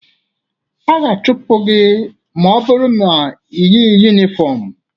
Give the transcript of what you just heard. A ga-achụpụ gị ma ọ bụrụ na i yighi yunifọmụ.